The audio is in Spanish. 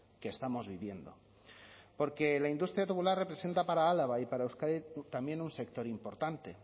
que estamos viviendo porque la industria tubular representa para álava y para euskadi también un sector importante